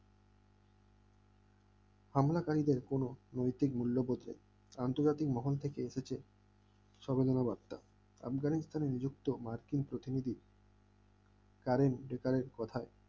হামলা কারীদের কোন কোন নৈতিক মূল্যবোধ নেই আন্তর্জাতিক মহান থেকে এসেছেন সর্বজনের আত্মা আফগানিস্তানের কোন মার্কিন প্রতিনিধি কথা